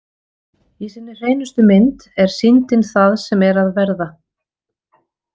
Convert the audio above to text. Í sinni hreinustu mynd er sýndin það sem er að verða.